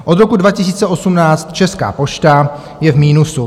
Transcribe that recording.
Od roku 2018 Česká pošta je v minusu.